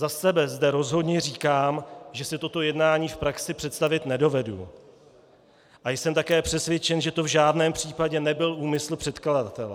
Za sebe zde rozhodně říkám, že si toto jednání v praxi představit nedovedu, a jsem také přesvědčen, že to v žádném případě nebyl úmysl předkladatele.